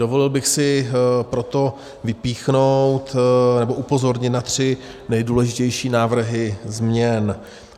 Dovolil bych si proto vypíchnout nebo upozornit na tři nejdůležitější návrhy změny.